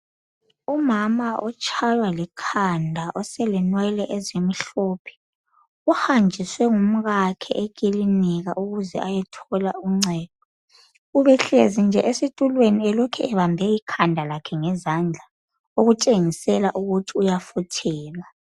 Umama otshaywa likhanda oselenwe ezimhlophe uhanjiswe ngumkakhe ukubana eyethola ungcedo ubehlezi nje esitulweni ubelokhe ebambe ikhanda ngezandla okutshengisa ukuthi uyafuthelwa